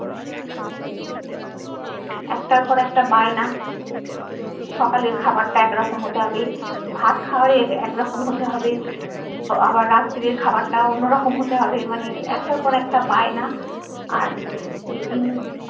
আক্তার পর একটা বায়না সকালের খাবারটা এক রকম হতে হবে ভাত খাওয়ার এক রকম হতে হবে আবার রাত্রের খাবারটা অন্য রকম হতে হবে মানে আক্তার পর একটা বায়না আর যেদিন